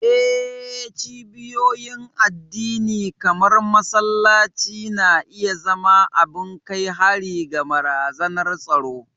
Eh, cibiyoyin addini kamar masallaci na iya zama abin kai hari ga barazanar tsaro.